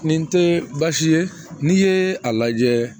Nin tɛ baasi ye n'i ye a lajɛ